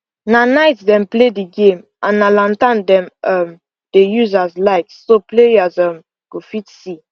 na night dem play the game and na lantern dem um dey use as light so players um go fit see